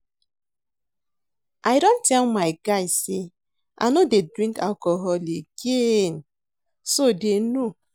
I don tell my guys say I no dey drink alcohol again so dey know